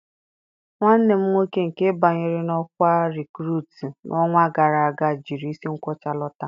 Nwanne m nwoke nke banyere n'okwa Rekurutu n'ọnwa gara aga jiri isi nkwocha lọta.